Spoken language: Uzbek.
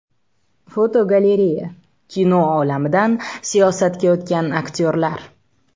Fotogalereya: Kino olamidan siyosatga o‘tgan aktyorlar.